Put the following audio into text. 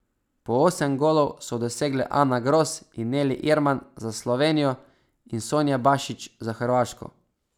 Po osem golov so dosegle Ana Gros in Neli Irman za Slovenijo in Sonja Bašić za Hrvaško.